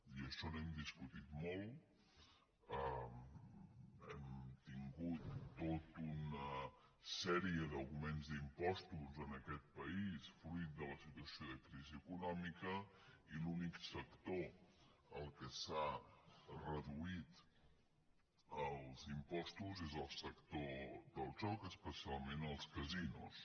i d’això n’hem discutit molt hem tin·gut tota una sèrie d’augments d’impostos en aquest pa·ís fruit de la situació de crisi econòmica i l’únic sector al qual s’ha reduït els impostos és el sector del joc especialment els casinos